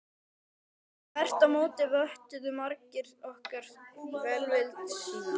Þvert á móti vottuðu margir okkur velvild sína.